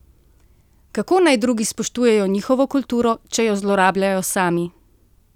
Kako naj drugi spoštujejo njihovo kulturo, če jo zlorabljajo sami?